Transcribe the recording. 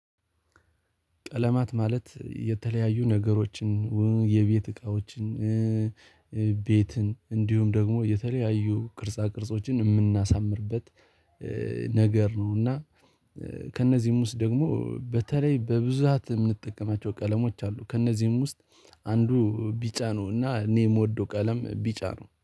ቀለማት ማለት የተለያዩ ነገሮችን የቤት እቃዎችን ቤትን እንዲሁም ደግሞ የተለያዩ ቅርጻ ቅርጾችን የምናሳምርበት ነገር ነው። እና ከእነዚህም ውስጥ ደግሞ በተለይ በብዛት የምንጠቀማቸው ቀለሞች አሉ። ከእነዚህም ውስጥ አንዱ ቢጫ ነው እና እኔ የምወደው ቀለም ቢጫ ነው